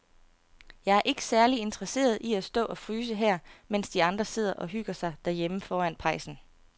Jeg er ikke særlig interesseret i at stå og fryse her, mens de andre sidder og hygger sig derhjemme foran pejsen.